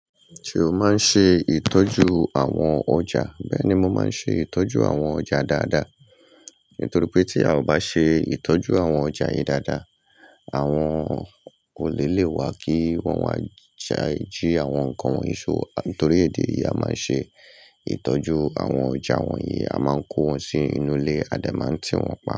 Ṣé o máa ń ṣe ìtọ́jú àwọn ọjà? Bẹ́ẹ̀ni, mo máa ń ṣe ìtọ́jú àwọn ọjà dáadáa. Nítorí pé tí a ò bá ṣe ìtọ́jú àwọn ọjà yìí dáadáa, àwọn olè lè wá kí wọ́n wá jí àwọn nkan wọnyi ṣó. Nítorí èdè yìí a máa ń ṣe ìtọ́jú àwọn ọjà wọ̀nyí. A máa ń kó wọn sí inú ilé, a dẹ̀ máa ń tì wọ́n pa.